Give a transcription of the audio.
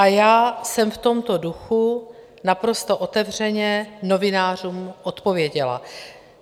A já jsem v tomto duchu naprosto otevřeně novinářům odpověděla.